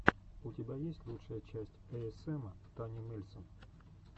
у тебя есть лучшая часть эйэсэма тани мельсон